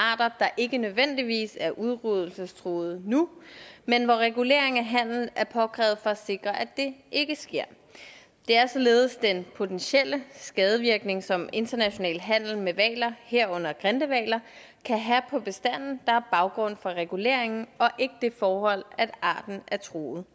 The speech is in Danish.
arter der ikke nødvendigvis er udryddelsestruede nu men hvor regulering af handel er påkrævet for at sikre at det ikke sker det er således den potentielle skadevirkning som international handel med hvaler herunder grindehvaler kan have på bestanden der er baggrund for reguleringen og ikke det forhold at arten er truet